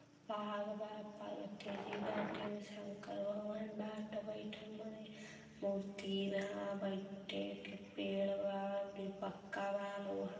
पहाड़ बा। पार्वती जी बाठी शंकर भगवान बाठ बइथल मूर्ति बा बैठे के पेड़बा पक्का व लोहा --